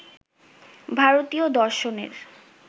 ভারতীয় দর্শনের